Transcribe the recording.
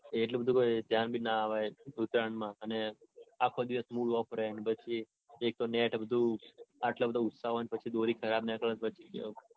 એટલે બધું કાઈ ધ્યાન બી ના અપાય ઉતરાણમાં અને આખો દિવસ mood off રે ને પછી એક તો નેથ બધું આટલો બધો ઉત્સાહ હોય ને પછી દોરી ખરાબ નીકળે તો પછી